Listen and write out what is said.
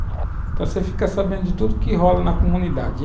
Então, você fica sabendo de tudo que rola na comunidade.